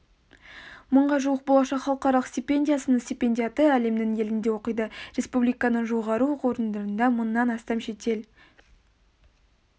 мыңға жуық болашақ халықаралық стипендиясының стипендиаты әлемнің елінде оқиды республиканың жоғары оқу орындарында мыңнан астам шетел